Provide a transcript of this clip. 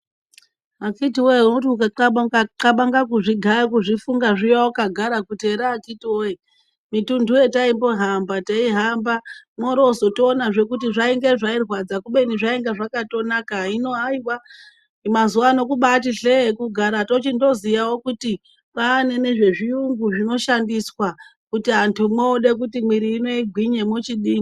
Akiti woye unoti ukaxabanga kuzvigaya kuzvifunga zviya wakagara kuti here akiti woye mitundu yataimbohamba teihamba mworo tozoonazve kuti zvainge zvinorwadza kubeni zvainga zvakatonaka. Hino haiwa mazuvano kubaati hlee kugara tochindo zoziyawo kuti kwaane zvechiyungu zvino shandiswa kuti antu mwoode kuti mwiiri ino igwinye mochidi..